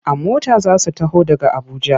A mota za su taho daga Abuja.